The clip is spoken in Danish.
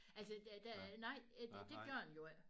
Altså det det nej det det gør den jo ikke